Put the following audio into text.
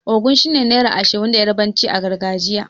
Ogun' shine naira Ashirin da yarbanci a gargajiya.